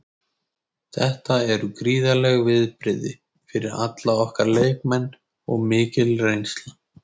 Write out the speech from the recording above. Þetta eru gríðarleg viðbrigði fyrir alla okkar leikmenn og mikil reynsla.